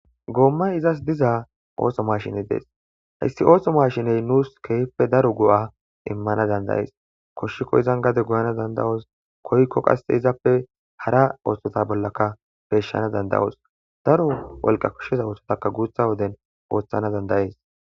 Goommay izas diza ootho maashiney dees. Hayssi ootho maashiney nuus keehippe daro go'a immanaas danda'ees guusuko. Izan gade goyanas danda'oos. Koyika hara oothota bollaka peyshanas danda'oos. Daro wolqa koshshiza oothotakka guutha woden wursanaas danda'ees.